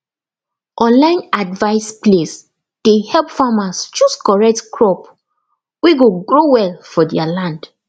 online advice place dey help farmers choose correct crop wey go grow well for their land